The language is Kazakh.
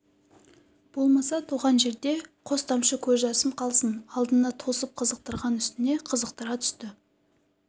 болмаса туған жерде қос тамшы көз жасым қалсын алдына тосып қызықтырған үстіне қызықтыра түсті